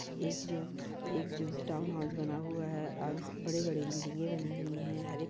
एक जो एक जो टाउन हाउस बना हुआ है और स बड़े -बड़े बिल्डिंगें बनी हुई है हरे --